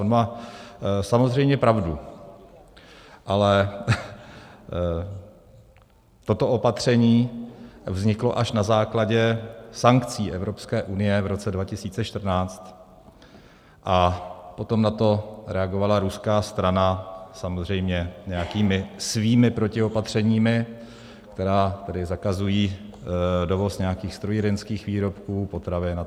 On má samozřejmě pravdu, ale toto opatření vzniklo až na základě sankcí Evropské unie v roce 2014 a potom na to reagovala ruská strana samozřejmě nějakými svými protiopatřeními, která zakazují dovoz nějakých strojírenských výrobků, potravin atd.